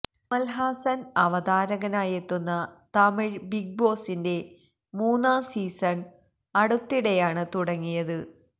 കമല് ഹാസന് അവതാരകനായിട്ടെത്തുന്ന തമിഴ് ബിഗ് ബോസിന്റെ മൂന്നാം സീസണ് അടുത്തിടെയാണ് തുടങ്ങിയത്